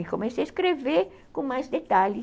E comecei a escrever com mais detalhes.